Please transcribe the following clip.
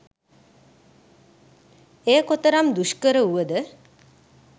එය කොතරම් දුෂ්කර වුවද